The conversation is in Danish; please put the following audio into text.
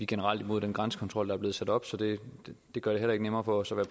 generelt imod den grænsekontrol der er blevet sat op så det gør det heller ikke nemmere for os at